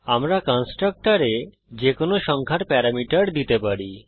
আমরা কন্সট্রকটরে যেকোনো সংখ্যার প্যারামিটার দিতে পারি